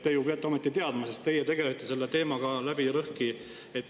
Te ju peate seda ometi teadma, sest teie olete selle teemaga läbi ja lõhki tegelenud.